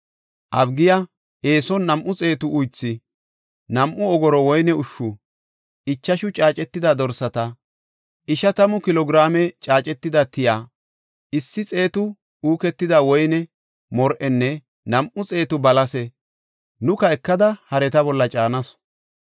Abigiya eeson nam7u xeetu uythu, nam7u ogoro woyne ushshu, ichashu caacetida dorsata, ishatamu kilo giraame caacetida tiya, issi xeetu uuketida woyne mor7enne nam7u xeetu balase nuka ekada hareta bolla caanasu.